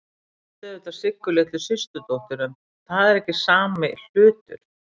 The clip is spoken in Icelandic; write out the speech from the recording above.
Ég átti auðvitað Siggu litlu systurdóttur, en það er ekki sami hlutur.